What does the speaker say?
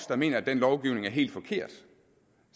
der mener at den lovgivning er helt forkert